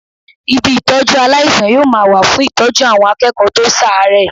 Ibi Ìtọ́jú aláìsàn yóò ma wà fún Ìtọ́jú àwọn akẹ́kọ̀ọ́ tó ṣàárẹ̀.